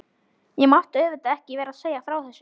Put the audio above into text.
Ég mátti auðvitað ekki vera að segja frá þessu.